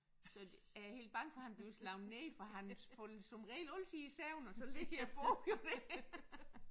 Så er jeg helt bange for han bliver slået ned for han falder som regel altid i søvn og så ligger bogen jo der